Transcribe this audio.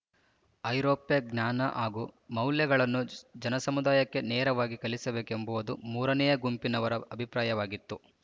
ಐರೋಪ್ಯ ಜ್ಞಾನ ಹಾಗೂ ಮೌಲ್ಯಗಳನ್ನು ಜನಸಮುದಾಯಕ್ಕೆ ನೇರವಾಗಿ ಕಲಿಸಬೇಕೆಂಬುದು ಮೂರನೆಯ ಗುಂಪಿನವರ ಅಭಿಪ್ರಾಯವಾಗಿತ್ತು